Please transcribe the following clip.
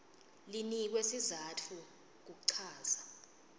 linikwe sizatfu kuchaza